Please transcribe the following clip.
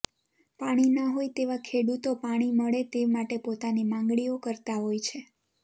પાણી નાં હોય તેવા ખેડૂતો પાણી મળે તે માટે પોતાની માંગણીઓ કરતા હોય છે